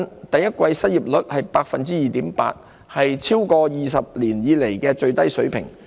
第一季失業率為 2.8%， 是超過20年以來的最低水平。